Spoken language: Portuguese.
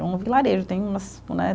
É um vilarejo, tem umas né